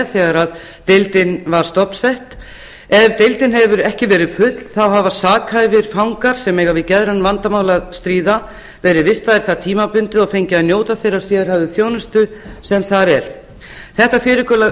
þegar deildin var stofnsett ef deildin hefur ekki verið full hafa sakhæfir fangar sem eiga við geðræn vandamál að stríða verið vistaðir þar tímabundið og fengið að njóta þeirrar sérhæfðu þjónustu sem þar er þetta